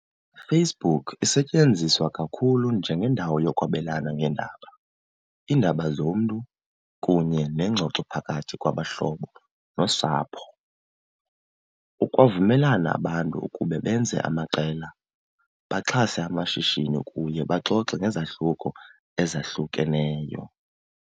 Facebook isetyenziswa kakhulu njengendawo yokwabelana ngeendaba, iindaba zomntu kunye neengxoxo phakathi kwabahlobo nosapho. Ukwavumelana abantu ukuba benze amaqela, baxhase amashishini kuye baxoxe ngezahluko ezahlukeneyo.